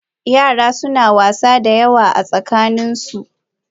Yara suna wasa da yawa a tsakaninsu.